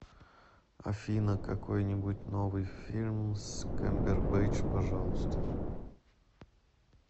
афина какой нибудь новый фильм с камбербэтч пожалуйста